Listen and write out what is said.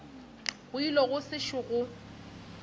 go ile go sešo gwa